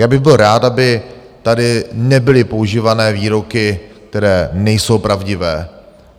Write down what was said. Já bych byl rád, aby tady nebyly používané výroky, které nejsou pravdivé.